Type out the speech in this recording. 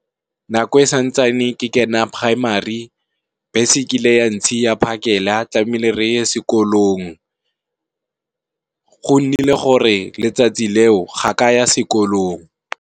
Nako e santsane ke kena Primary bese e kile ya ntshiya phakela tlamehile re ye sekolong, go nnile gore letsatsi leo ga ka ya sekolong.